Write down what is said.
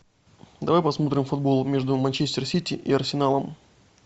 давай посмотрим футбол между манчестер сити и арсеналом